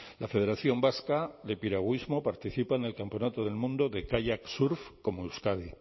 la federación vasca de piragüismo participa en el campeonato del mundo de kayak surf como euskadi